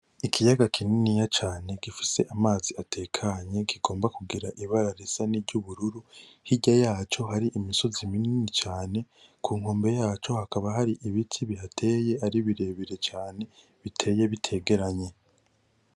Ikiyaga kininiya cane gifise amazi atekanye kigomba kugira ibara risa nkiry'ubururu hirya yaco hari imisozi minini cane. Ku nkombo yaco hakaba hari ibiti bihateye ari birebire cane, biteye bitegeranye.